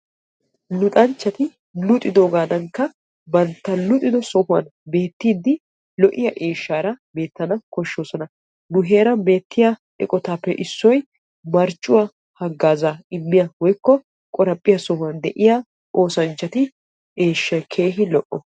Luxanchchati luxxidoogadanikka bantta luxxido sohuwaan beettiidi lo"iyaa eeshshara beettana koshshoosoa. nu heeran beettiyaa eqotappe issoy marccuwaa haggaazaa immiyaa woykko qaraphiyaa sohuwaan de'iyaa osanchchatu eshshsay keehi lo"o.